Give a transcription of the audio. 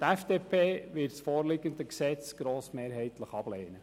Die FDP-Fraktion wird das vorliegende Gesetz grossmehrheitlich ablehnen.